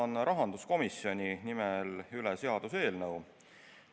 Annan rahanduskomisjoni nimel üle seaduseelnõu.